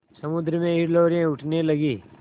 समुद्र में हिलोरें उठने लगीं